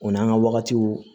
O n'an ka wagatiw